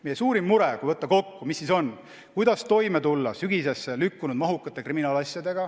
Meie suurim mure, kui võtta kokku, on see: kuidas tulla toime sügisesse lükkunud mahukate kriminaalasjadega.